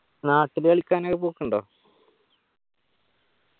നാട്ടില് കളിക്കാനൊക്കെ പോക്കുണ്ടോ